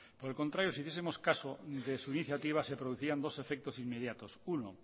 por el contrario si hiciesemos caso de su iniciativa se producirían dos efectos inmediatos uno